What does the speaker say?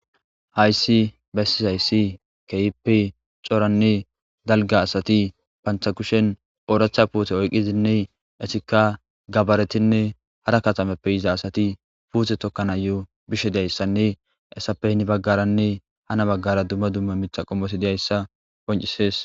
Hayssi bessizayssi keyipi coranne dalga asati panthakushen oodracha puute oyqqizinne esikka gabaretinne hara katameppe yiza asati puute tokkana yo bishe dayssanne essappe hini baggaranne hana baggara dumma dumma mitha qommosi diyayssa qoncisees.